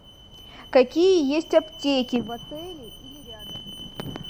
какие есть аптеки в отеле или рядом